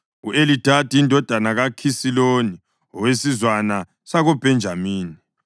u-Elidadi indodana kaKhisiloni, owesizwana sakoBhenjamini;